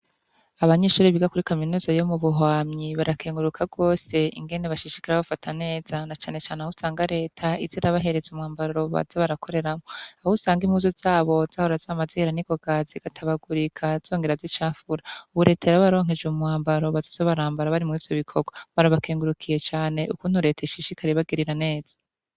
Abanyeshure biga kuri kaminuza yomubuhwamyi barakenguruka gose ingene bashishikara babafata neza na cane cane ahusanga reta izirabahereza umwambaro bazabarakoreramwo ahusanga impuzu zabo zahora zamazihera ningoga zigatabagurika zongera zicafura ubu reta yarabaronkeje umwambaro bazabarambara bari murivyo bikorwa barabakengurukiye cane ukuntu reta ishishikara ibagirira neza